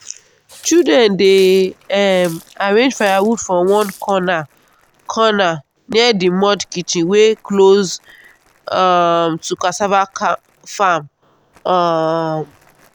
children dey um arrange firewood for one corner corner near the mud kitchen wey close um to cassava farm. um